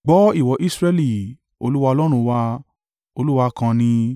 Gbọ́ ìwọ Israẹli, Olúwa Ọlọ́run wa, Olúwa kan ni.